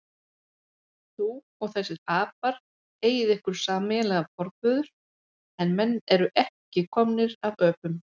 Þú og þessir apar eigið ykkur sameiginlegan forföður, en menn eru ekki komnir af öpum.